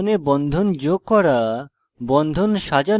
বিদ্যমান বন্ধনে bond যোগ করা